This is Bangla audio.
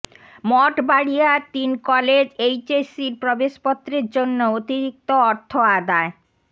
মঠবাড়িয়ার তিন কলেজ এইচএসসির প্রবেশপত্রের জন্য অতিরিক্ত অর্থ আদায়